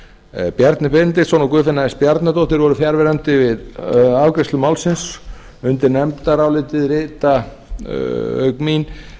benediktsson og guðfinna s bjarnadóttir voru fjarverandi við afgreiðslu málsins undir nefndarálitið rita auk mín